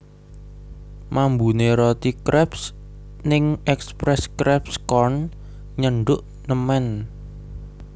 Mambune roti kreps ning Express Crepes Corn nyenduk nemen